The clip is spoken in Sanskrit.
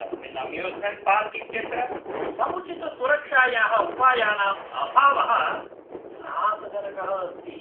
अस्मिन् अम्यूस्मेण्ट् पार्क् इत्यत्र समुचितसुरक्षायाः उपायानाम् अभावः त्रासजनकः अस्ति।